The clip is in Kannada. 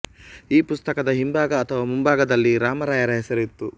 ಈ ಪುಸ್ತಕದ ಹಿಂಭಾಗ ಅಥವಾ ಮುಂಭಾಗದಲ್ಲಿ ರಾಮರಾಯರ ಹೆಸರು ಇತ್ತು